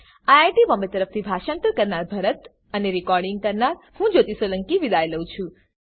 IIT Bombay તરફથી હું ભરત સોલંકી વિદાય લઉં છું